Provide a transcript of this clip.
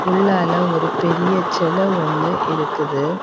உள்ளாள ஒரு பெரிய செல ஒன்னு இருக்குது.